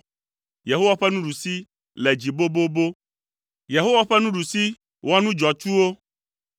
Yehowa ƒe nuɖusi le dzi bobobo! Yehowa ƒe nuɖusi wɔ nu dzɔatsuwo!”